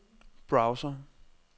browser